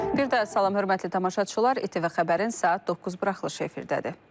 Bir daha salam hörmətli tamaşaçılar, İTV xəbərin saat 9 buraxılışı efirdədir.